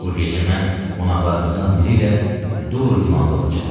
Bu gecə mən qonaqlarımızdan biri ilə Duver limanında olacam.